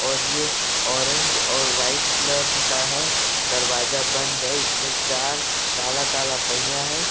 और ये ऑरेंज और व्हाइट कलर का है। दरवाजा बंद है। इसमें चार काला-काला पहिया हैं।